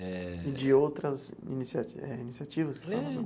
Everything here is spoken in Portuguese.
Eh. E de outras inicia eh iniciativas?